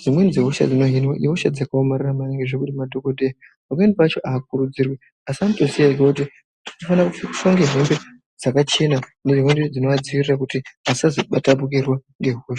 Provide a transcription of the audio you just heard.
dzimweni dzehosha dzinohenwa dzakaomarara maningi zvekuti pamweni pacho madhokodheya aadi kukurudzirwa anotoziya ega kuti anofanirwa kupfeka hembe dzakachena nehembe dzinovadzivirira kuti asazobatwa ngehosha .